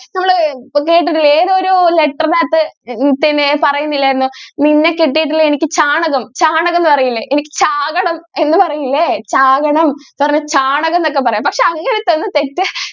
നമ്മൾ ഏതോ ഒരു letter നകത്ത് അകത്തു പിന്നെ പറയുന്നില്ലായിരുന്നോ നിന്നെ എനിക്ക് ചാണകം ചാണകം എന്ന് പറയില്ലേ എനിക്ക് ചാകണം എന്ന് പറയില്ലേ ചാകണം പറ ചാണകം എന്നൊക്കെ പക്ഷേ അങ്ങനത്തെ ഒരു തെറ്റ്